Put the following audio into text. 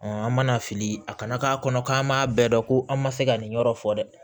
an mana fili a kana k'a kɔnɔ k'an m'a bɛɛ dɔn ko an ma se ka nin yɔrɔ fɔ dɛ